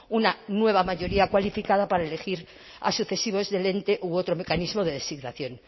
una nueva mayoría cualificada para elegir a sucesivos del ente u otro mecanismo de designación